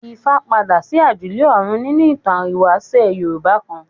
Ifá padà sí àjùlé ọ̀run nínú ìtàn ìwáṣẹ̀ Yorùbá kan.